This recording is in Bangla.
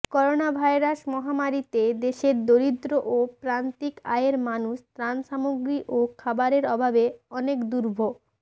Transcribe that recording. করোনাভাইরাস মহামারিতে দেশের দরিদ্র ও প্রান্তিক আয়ের মানুষ ত্রাণসামগ্রী ও খাবারের অভাবে অনেক দুর্ভ